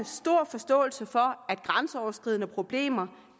stor forståelse for at grænseoverskridende problemer